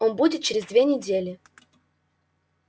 он будет через две недели